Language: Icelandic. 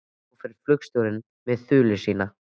Og svo fer flugstjórinn með þuluna sína.